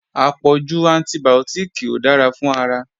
Àpọ̀jù antibìọ́tìkì ò dára fún ara